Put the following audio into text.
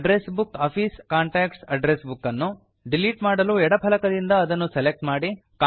address book office contacts address book ಅನ್ನು delete ಮಾಡಲು ಎಡ ಫಲಕದಿಂದ ಅದನ್ನು ಸೆಲೆಕ್ಟ್ ಮಾಡಿ